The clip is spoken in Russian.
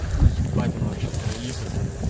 ебать оно вообще троит это